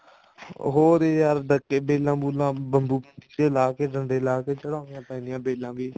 ਹੋਰ ਯਾਰ ਡੱਕੇ ਬੇਲਾਂ ਬੁਲਾਂ ਡੰਡੇ ਲਾ ਕੇ ਖੜਾਉਣੀਆਂ ਪੈਂਦੀਆਂ ਬੇਲਾਂ ਵੀ